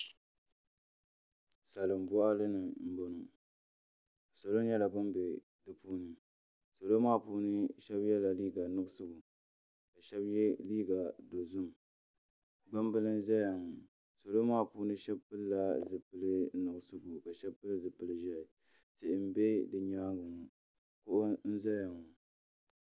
Salin boɣali ni n boŋo salo nyɛla bin bɛ di puuni salo maa puuni so yɛla liiga nuɣso ka shab yɛ liiga dozim gbambili n ʒɛya ŋo salo maa puuni shab pilila zipili nuɣso nuɣso ka shab pili zipili ʒiɛhi tihi n bɛ bi nyaangi ŋo doo n ʒɛya